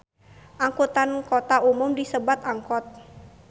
Angkutan kota umumna disebat angkot